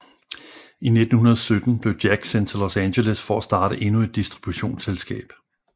I 1917 blev Jack sendt til Los Angeles for at starte endnu et distributionsselskab